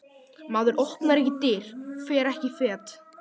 Maður opnar ekki dyr, fer ekki fet.